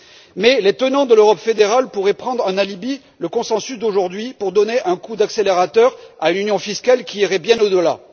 Mais les tenants de l'Europe fédérale pourraient prendre en alibi le consensus d'aujourd'hui pour donner un coup d'accélérateur à l'union fiscale, qui irait bien au delà.